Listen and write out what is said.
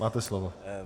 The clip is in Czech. Máte slovo.